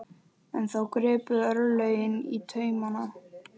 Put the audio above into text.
En þá gripu örlögin í taumana.